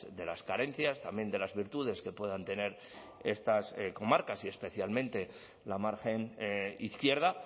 de las carencias también de las virtudes que puedan tener estas comarcas y especialmente la margen izquierda